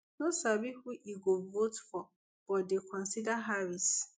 no sabi who e go vote for but dey consider harris